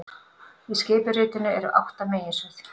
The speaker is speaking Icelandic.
Í skipuritinu eru átta meginsvið